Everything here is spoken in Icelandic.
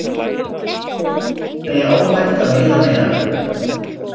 Segja óhætt að veiða meira